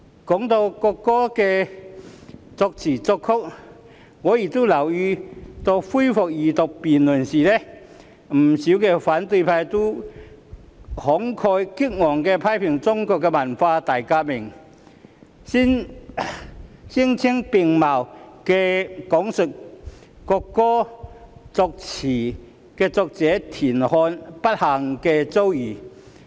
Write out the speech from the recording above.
提到國歌的作詞人和作曲人，我亦留意到恢復二讀辯論時，不少反對派議員均慷慨激昂地批評中國的文化大革命，聲色並茂地講述國歌作詞人田漢的不幸遭遇。